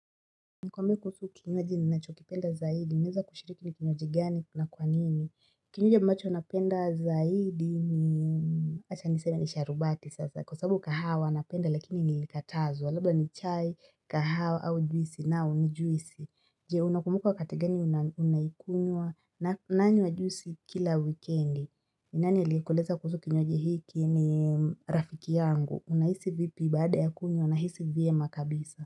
Nikwambie kuhusu kinywaju ninacho kipenda zaidi, naeza kushiriki ni kinywaji gani na kwa nini? Kinywaji ambacho napenda zaidi ni, acha ni seme ni sharubati sasa, kwa sababu kahawa, napenda, lakini nilikatazwa, labda ni chai, kahawa, au juisi, nao ni juisi. Je, unakumuka wakati gani unaikunywa nanywa juisi kila wikendi. Nani alikueleza kuhusu kinywaji hiki ni rafiki yangu, unahisi vipi baada ya kunywa, nahisi vyema kabisa.